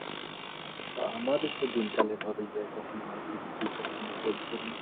আমারও দিনকাল এভাবে যাই কখনো movie দেখি কখনো বই পড়ি